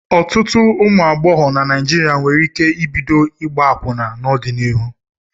Ọtụtụ ụmụ agbọghọ na Naijiria nwere ike ibido ịgba akwụna n'ọdịnihu.